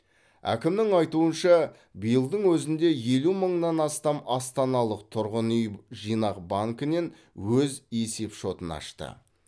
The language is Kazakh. әкімнің айтуынша биылдың өзінде елу мыңнан астам астаналық тұрғын үй жинақ банкінен өз есепшотын ашты